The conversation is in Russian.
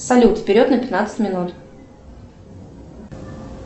салют вперед на пятнадцать минут